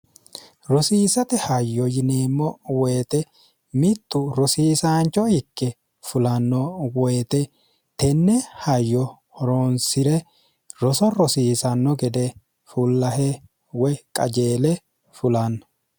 rosiisate hayyo yineemmo woyite mittu rosiisaancho hikke fulanno woyite tenne hayyo horoonsi're roso rosiisanno gede fullahe woy qajeele fulanno